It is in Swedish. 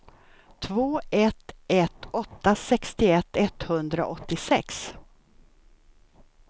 två ett ett åtta sextioett etthundraåttiosex